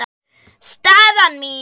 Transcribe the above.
Staðan mín?